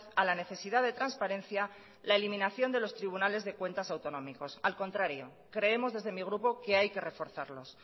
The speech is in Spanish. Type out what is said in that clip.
a la necesidad de transparencia la eliminación de los tribunal de cuentas autonómicos al contrario creemos desde mi grupo que hay que reforzarlos